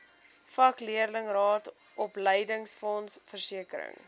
vakleerlingraad opleidingsfonds versekering